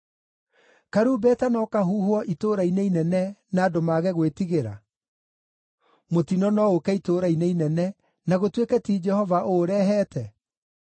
Karumbeta no kahuhwo itũũra-inĩ inene, na andũ mage gwĩtigĩra? Mũtino no ũũke itũũra-inĩ inene, na gũtuĩke ti Jehova ũũrehete?